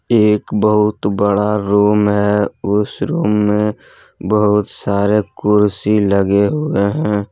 एक बहुत बड़ा रूम है उसे रूम में बहुत सारे कुर्सी लगे हुए हैं।